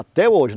Até hoje.